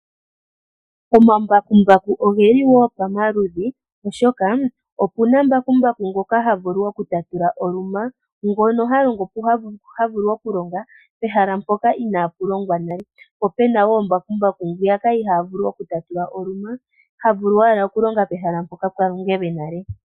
Omambakumbaku oge li wo pamaludhi, oshoka opu na mbakumbaku ngoka ha vulu okutatula oluma. Ngono ha vulu okulonga pehala mpoka inaapu longwa nale. Po ope na wo mbakumbaku ngo ihaa vulu okutatula oluma, ano ha longo owala pehala mpono pwa longelwe nale.